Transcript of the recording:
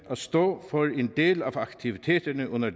at stå for en del af aktiviteterne under